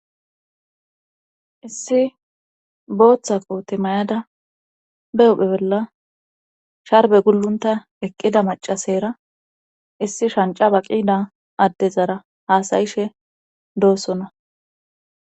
issi booththa koote may7ada be huphe bolla sharbe gullunta eqqida macasera issi shanca ba7ida addezara haasayishe doossona